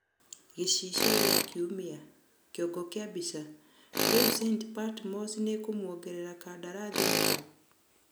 (Gĩcicio kĩa kiumia) kĩongo kĩa mbica, rĩu St.Patmos nĩkũmwongera kandarathi Mugo?